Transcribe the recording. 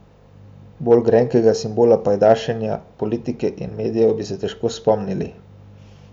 Bolj grenkega simbola pajdašenja politike in medijev bi se težko spomnili.